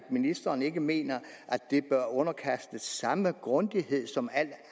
ministeren ikke mener det bør underkastes samme grundighed som al